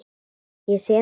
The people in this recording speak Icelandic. Ég sé það.